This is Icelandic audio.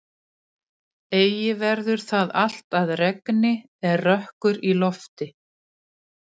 Eigi verður það allt að regni er rökkur í lofti.